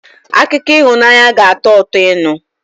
Akụkọ ịhụnanya ga-atọ ụtọ ịnụ